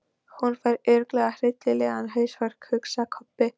Hún fær örugglega hryllilegan hausverk, hugsaði Kobbi.